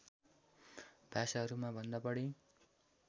भाषाहरूमा भन्दा बढी